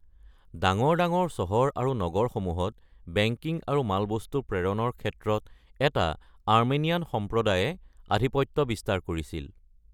ডাঙৰ ডাঙৰ চহৰ আৰু নগৰসমূহত বেংকিং আৰু ) মালবস্তু প্ৰেৰণৰ ক্ষেত্ৰত এটা আৰ্মেনিয়ান সম্প্ৰদায়ে আধিপত্য বিস্তাৰ কৰিছিল।